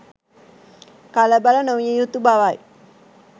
කලබල නො විය යුතු බවයි.